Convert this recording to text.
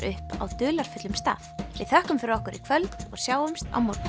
upp á dularfullum stað við þökkum fyrir okkur í kvöld og sjáumst á morgun